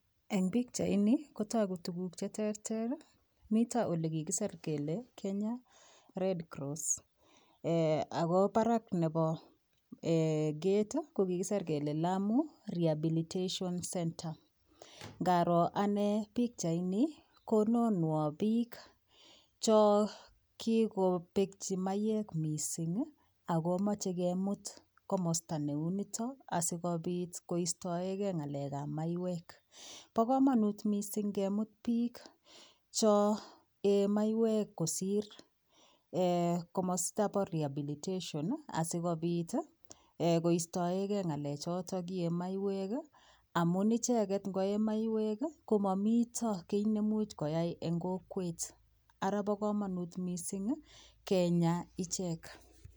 En bichait niton Komi tuguk cheterter Milton olekikisir Kole Kenya red cross ako Barak Nebo gate kokikisis kele Lamu rehabilitation center naro Ane bichait niton kononwok bik chon kikoyeemaiyek mising akomache kemut komasta neuniton asikobit koistoengei ngalek ab maiywek bakamanut mising ngemut bik chi yen maiywek kosir komasta ab rehabilitation center asikobit koistaigei choton kiyen maiywek amun icheket koyee maiyek komami kinemuch koyai en oret Ara ba kamanut mising Kenya ichek